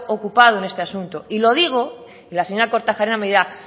ocupado en este asunto y lo digo y la señora kortajarena me dirá